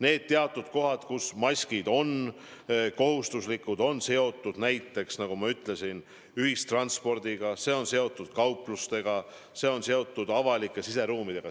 Need teatud kohad, kus maskid on kohustuslikud, on seotud näiteks, nagu ma ütlesin, ühistranspordiga, seotud kauplustega, muude avalike siseruumidega.